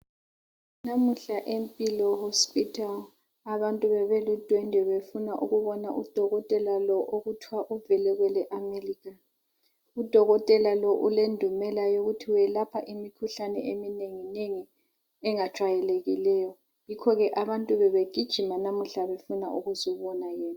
Namuhla eMpilo hospital, abantu bebelundwende befuna ukubona odokotela lo okuthwa uvele kweleAmelika. Udokotela lo ulendumela yokuthi welapha imikhuhlane eminenginengi engajwayelekileyo, yikho ke abantu bebegijima namuhla befuna ukuzobona yena.